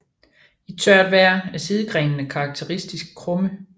I tørt vejr er sidegrenene karakteristisk krumme